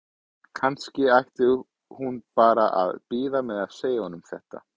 Kannski ætti hún bara að bíða með að segja honum þetta?